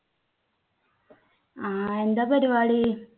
ആ എന്താ പരിപാടി?